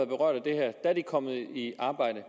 berørt af det kommet i arbejde